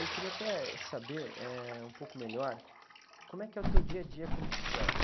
Eu queria até, eh, saber, eh, um pouco melhor, como é que é o teu dia a dia com bicicleta?